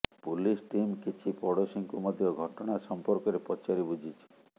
police team କିଛି ପଡ଼ୋଶୀଙ୍କୁ ମଧ୍ୟ ଘଟଣା ସମ୍ପର୍କରେ ପଚାରି ବୁଝିଛି